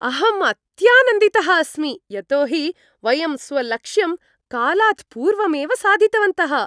अहम् अत्यानन्दितः अस्मि यतो हि वयं स्वलक्ष्यं कालात् पूर्वमेव साधितवन्तः!